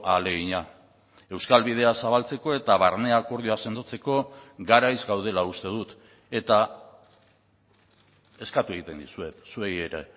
ahalegina euskal bidea zabaltzeko eta barne akordioa sendotzeko garaiz gaudela uste dut eta eskatu egiten dizuet zuei ere